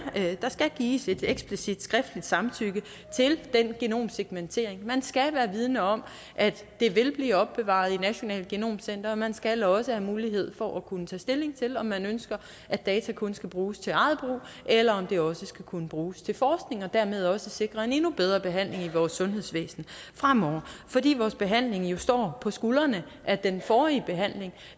skal gives et explicit skriftligt samtykke til den genomsekventering og man skal være vidende om at det vil blive opbevaret i nationalt genom center og man skal også have mulighed for at kunne tage stilling til om man ønsker at data kun skal bruges til eget brug eller om det også skal kunne bruges til forskning og dermed også sikre en endnu bedre behandling i vores sundhedsvæsen fremover fordi vores behandling jo står på skuldrene af den forrige behandling